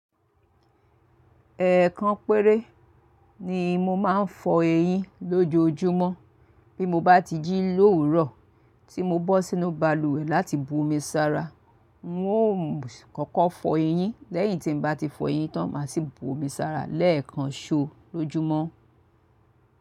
Ẹ̀ẹ̀kan péré ni mo máa ń fọ eyín lójoojúmọ́ bí mo bá ti jí lóòrùn tí mo bọ́ sínú balùwẹ̀ láti bu omi sara. N óò kọ́kọ́ fọ eyín lẹ́yìn tí n bá ti fọ eyín tán máa sì bu omi sara lẹ́ẹ̀kan ṣo lójúmọ́.